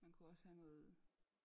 Man kunne også have noget